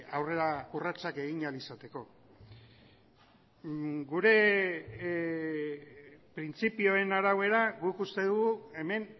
aurrera urratsak egin ahal izateko gure printzipioen arabera guk uste dugu hemen